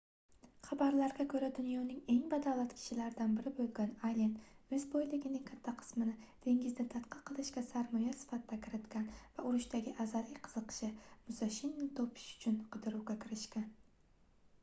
xabarlarga koʻra dunyoning eng badavlat kishilaridan biri boʻlgan allen oʻz boyligining katta qismini dengizni tadqiq qilishga sarmoya sifatida kiritgan va urushdagi azaliy qiziqishi musashini topish uchun qidiruvga kirishgan